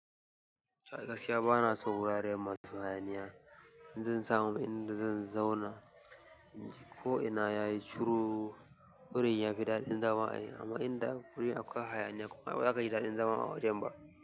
A gaskiya bana tsoro wurare masu hayaniya. In zan samu inda zan zauna, ko ina yayi ciro, wurin yafi daɗin zama. Amma inda wuri akwai hayaniya, amma ba zaka gi daɗin zama a wajen ba.